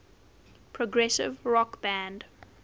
progressive rock band